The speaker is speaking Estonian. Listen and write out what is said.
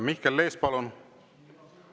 Mihkel Lees, palun!